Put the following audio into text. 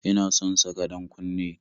Ina son saka ɗan-kunne